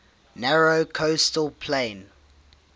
narrow coastal plain